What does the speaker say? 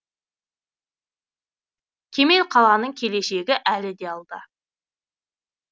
кемел қаланың келешегі әлі де алда